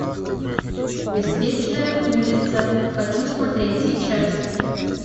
беспечная улица хочу смотреть сейчас